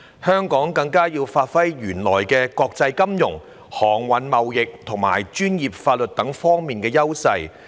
香港更加要發揮原來在國際金融、航運貿易和專業法律等方面的優勢。